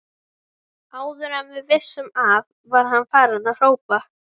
Áður en við vissum af var hann farinn að hrópa